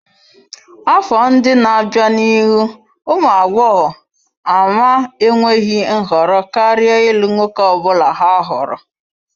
Afọ ndị na-abịa n'ihu ụmụ agbọghọ ama enweghị nhọrọ karịa ịlụ nwoke ọ bụla ha hụrụ.